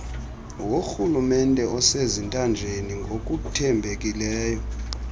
worhulumente osezintanjeni ngokuthembekileyo